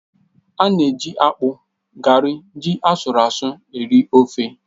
A na-eji akpu, gari na ji asụru asụ́ eri ofe